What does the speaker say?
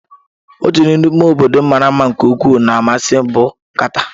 Otu n'ime obodo mara mma nke ukwuu na-amasị m bụ kata.